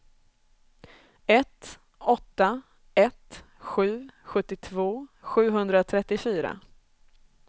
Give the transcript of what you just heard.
ett åtta ett sju sjuttiotvå sjuhundratrettiofyra